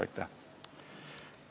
Aitäh!